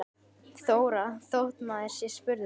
Þóra: Þótt maður sé spurður?